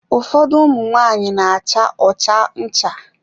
Ụfọdụ ụmụ nwanyị n'acha ọcha ncha.